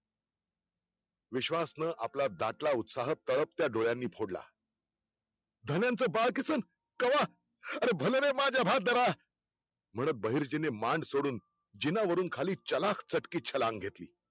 विश्वासन आपला दाटला उत्साह आपल्या तळपत्या डोळ्यांनी फोडला धन्यांच बालकिशन कवा? अरे भल र माझ्भारदार बहिर्जीने मांड सोडून जिनावरून खाली चालक चतकी छलांग घेतली